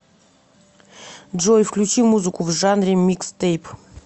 джой включи музыку в жанре микстейп